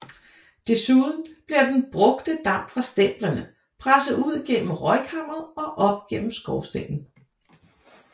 Desuden bliver den brugte damp fra stemplerne presset ud gennem røgkammeret og op gennem skorstenen